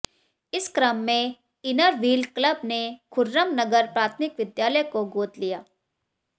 इस क्रम में इनरव्हील क्लब ने खुर्रमनगर प्राथमिक विद्यालय को गोद लिया